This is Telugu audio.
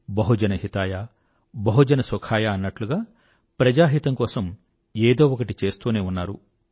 బహుజన హితాయబహుజన సుఖాయ అన్నట్లుగా ప్రజాహితం కోసం ఏదో ఒకటి చేస్తూనే ఉన్నారు